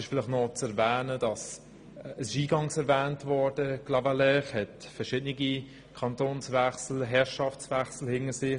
Clavaleyres hat verschiedene Kantons- und Herrschaftswechsel hinter sich.